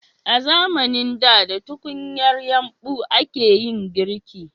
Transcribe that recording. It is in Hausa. A zamanin da da tukunyar yumbu a ke yin girki